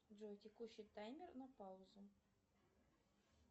джой текущий таймер на паузу